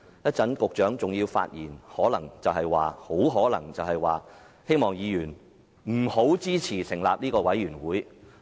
稍後局長還會發言，很可能會呼籲議員不要支持成立專責委員會。